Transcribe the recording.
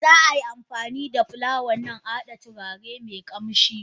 Za ai amfanida fulawan nan a hada turare me kamshi.